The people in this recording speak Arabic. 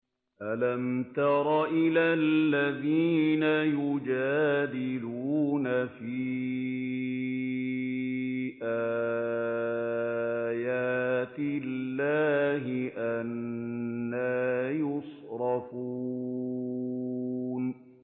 أَلَمْ تَرَ إِلَى الَّذِينَ يُجَادِلُونَ فِي آيَاتِ اللَّهِ أَنَّىٰ يُصْرَفُونَ